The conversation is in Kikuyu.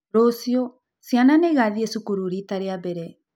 Rũciũ, ciana nĩ igathiĩ cukuru riita rĩa mbere.